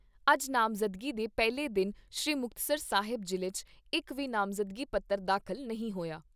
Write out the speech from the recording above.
ਅੱਜ ਨਾਮਜ਼ਦਗੀ ਦੇ ਪਹਿਲੇ ਦਿਨ ਸ੍ਰੀ ਮੁਕਤਸਰ ਸਾਹਿਬ ਜ਼ਿਲ੍ਹੇ 'ਚ ਇਕ ਵੀ ਨਾਮਜ਼ਦਗੀ ਪੱਤਰ ਦਾਖਲ ਨਹੀਂ ਹੋਇਆ।